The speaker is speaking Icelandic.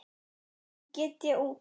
Ekki get ég út